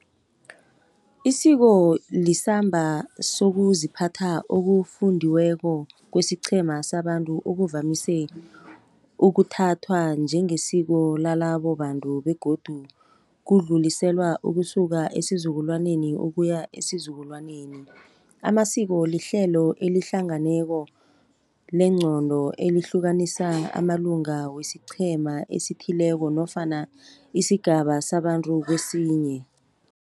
Isiko lisamba sokuziphatha okufundiweko kwesiqhema sabantu, okuvamise ukuthathwa njengesiko lalabo bantu begodu kudluliselwa ukusuka esizukulwaneni ukuya esizukulwaneni. Amasiko lihlelo elihlanganeko leengqondo, elihlukanisa amalunga wesiqhema esithileko nofana isigaba sabantu kesinye.